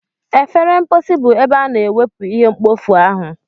Efere mposi bụ ebe a na-ewepu ihe mkpofu ahu.